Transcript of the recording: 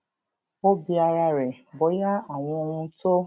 ó bi ara rẹ bóyá àwọn ohun tó